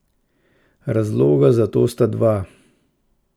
Razloga za to sta dva.